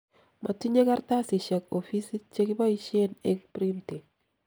motinyei karatasishek ofisit che kiboisien eng printing